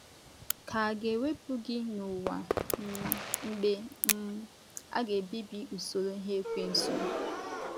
Ka à ga - ewepụ gị n’ụwa, um mgbe um a ga - ebibi usoro ihe Ekwensu?